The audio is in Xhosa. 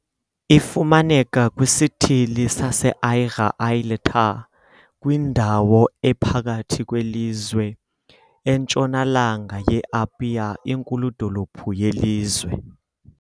Ifumaneka kwisithili saseAiga-i-le-Tai, kwindawo ephakathi kwelizwe, entshonalanga ye -Apia, inkulu-dolophu yelizwe.